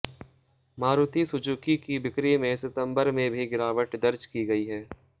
Maruti Suzuki की बिक्री में सिंतबर में भी गिरावट दर्ज की गयी है